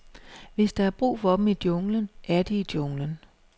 Hvis der er brug for dem i junglen, er de i junglen.